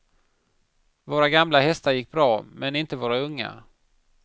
Våra gamla hästar gick bra, men inte våra unga.